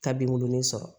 Ka binkurunin sɔrɔ